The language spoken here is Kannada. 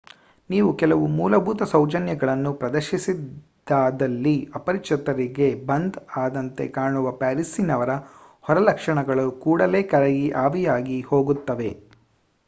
ನೀವು ಕೆಲವು ಮೂಲಭೂತ ಸೌಜನ್ಯಗಳನ್ನು ಪ್ರದರ್ಶಿಸಿದ್ದಾದಲ್ಲಿ ಅಪರಿಚಿತರಿಗೆ ಬಂದ್ ಆದಂತೆ ಕಾಣುವ ಪ್ಯಾರಿಸ್ಸಿನವರ ಹೊರಲಕ್ಷಣಗಳು ಕೂಡಲೇ ಕರಗಿ ಆವಿಯಾಗಿ ಹೋಗುತ್ತವೆ